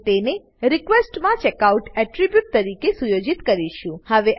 અને તેને રિક્વેસ્ટ માં ચેકઆઉટ એટ્રીબ્યુટ તરીકે સુયોજિત કરીશું